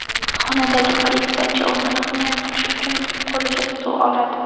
Xonadagi politsiyachi o‘zini himoya qilish uchun qo‘liga stul oladi.